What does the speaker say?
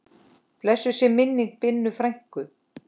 Blessuð sé minning Binnu frænku.